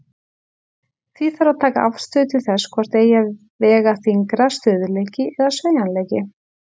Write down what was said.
Því þarf að taka afstöðu til þess hvort eigi að vega þyngra, stöðugleiki eða sveigjanleiki.